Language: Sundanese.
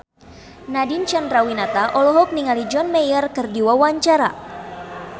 Nadine Chandrawinata olohok ningali John Mayer keur diwawancara